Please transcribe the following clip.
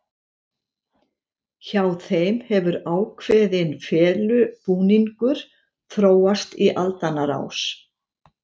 Hjá þeim hefur ákveðin felubúningur þróast í aldanna rás.